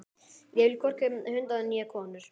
Ég vil hvorki hunda né konur.